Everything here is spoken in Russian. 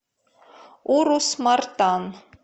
урус мартан